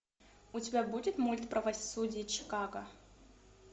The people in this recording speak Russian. у тебя будет мульт правосудие чикаго